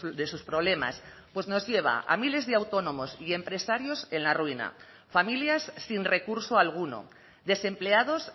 de sus problemas pues nos lleva a miles de autónomos y empresarios en la ruina familias sin recurso alguno desempleados